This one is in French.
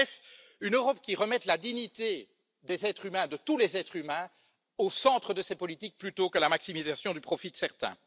En bref, une Europe qui remette la dignité de tous les êtres humains au centre de ces politiques plutôt que la maximisation du profit de certains.